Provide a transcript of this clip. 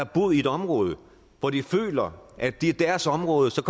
boet i et område hvor de føler at det er deres område og så